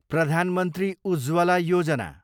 Pradhan Mantri Ujjwala Yojana